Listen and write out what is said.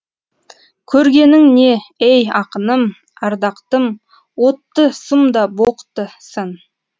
көргенің не ей ақыным ардақтым отты сұм да боқты сын